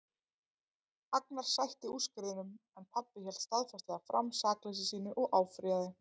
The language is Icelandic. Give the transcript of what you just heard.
Agnar sætti úrskurðinum en pabbi hélt staðfastlega fram sakleysi sínu og áfrýjaði.